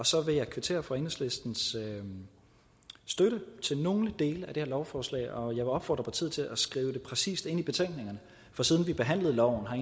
så vil jeg kvittere for enhedslistens støtte til nogle dele af det her lovforslag og jeg vil opfordre partiet til at skrive det præcist ind i betænkningerne for siden vi behandlede loven har